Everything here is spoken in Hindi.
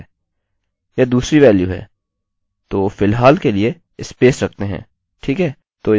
यह दूसरी वेल्यू है तो फिलहाल के लिए स्पेस रखते हैं ठीक है